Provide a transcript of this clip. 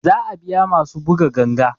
Za a biya masu buga ganga